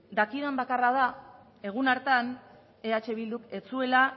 dakidan bakarra da egun hartan eh bilduk ez zuela